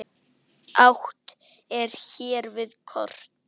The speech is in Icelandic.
Átt er hér við kort.